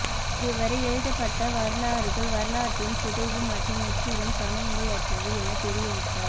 இதுவரை எழுதப்பட் வரலாறுகள் வரலாற்றின் சிதைவு மற்றும் முற்றிலும் சமநிலையற்றவை எனத் தெரிவித்தார்